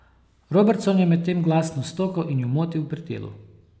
Robertson je medtem glasno stokal in ju motil pri delu.